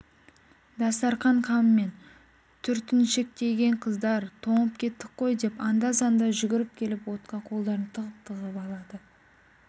дастарқан қамымен түртіншектеген қыздар тоңып кеттік қой деп анда-санда жүгіріп келіп отқа қолдарын тығып-тығып алады